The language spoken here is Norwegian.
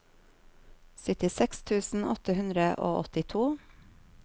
syttiseks tusen åtte hundre og åttito